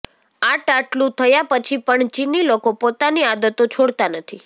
આટઆટલું થયા પછી પણ ચીની લોકો પોતાની આદતો છોડતાં નથી